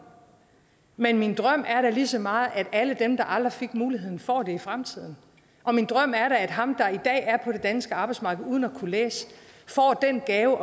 men min drøm er da lige så meget at alle dem der aldrig fik muligheden får den i fremtiden og min drøm er da at ham der i dag er på det danske arbejdsmarked uden at kunne læse får den gave